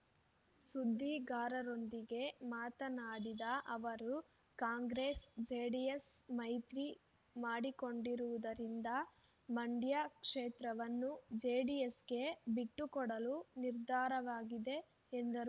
ಸುದ್ದಿಗಾರರೊಂದಿಗೆ ಮಾತನಾಡಿದ ಅವರು ಕಾಂಗ್ರೆಸ್ ಜೆಡಿಎಸ್ ಮೈತ್ರಿ ಮಾಡಿಕೊಂಡಿರುವುದರಿಂದ ಮಂಡ್ಯ ಕ್ಷೇತ್ರವನ್ನು ಜೆಡಿಎಸ್‌ಗೆ ಬಿಟ್ಟುಕೊಡಲು ನಿರ್ಧಾರವಾಗಿದೆ ಎಂದರು